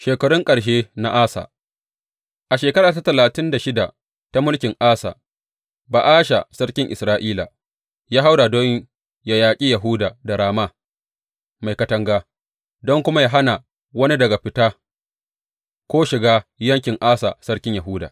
Shekarun ƙarshe na Asa A shekara ta talatin da shida ta mulkin Asa, Ba’asha sarkin Isra’ila ya haura don yă yaƙi Yahuda da Rama mai katanga, don kuma yă hana wani daga fita ko shiga yankin Asa sarkin Yahuda.